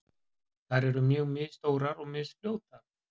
Þær eru mjög misstórar og misfljótar.